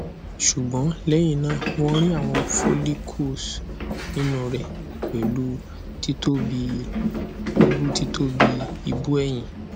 sugbon lehina won ri awon follicles ninu re pelu titobi ibu titobi ibu eyin